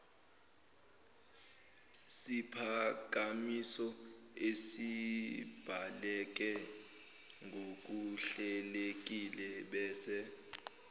siphakamiso esibhaleke ngokuhlelekilebese